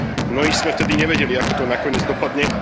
Mnohí sme vtedy nevedeli, ako to nakoniec dopadne.